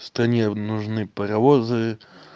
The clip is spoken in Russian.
стране нужны паровозы